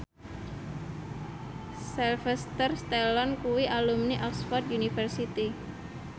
Sylvester Stallone kuwi alumni Oxford university